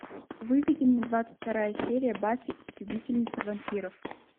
выведи мне двадцать вторая серия баффи истребительница вампиров